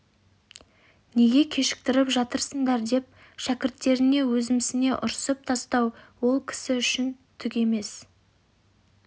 неге кешіктіріп жатырсыңдар деп шәкірттеріне өзімсіне ұрсып тастау ол кісі үшін түк емес